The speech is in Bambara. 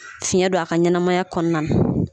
Fiɲɛ don a ka ɲɛnamaya kɔnɔna na.